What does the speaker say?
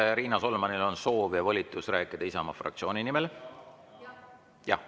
Kas Riina Solmanil on soov ja volitus rääkida Isamaa fraktsiooni nimel?